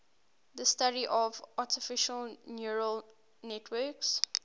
the study of artificial neural networks